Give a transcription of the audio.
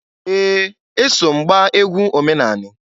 Ee! Eso m gbaa egwu omenani.